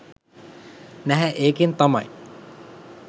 නැහැ ඒකෙන් තමයි